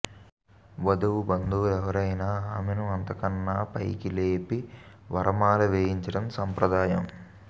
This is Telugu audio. వధువు బంధువులు ఎవరైనా ఆమెను అంతకన్నా పైకి లేపి వరమాల వేయించడం సంప్రదాయం